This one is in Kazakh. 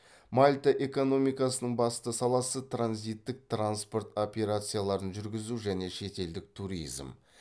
мальта экономикасының басты саласы транзиттік транспорт операцияларын жүргізу және шетелдік туризм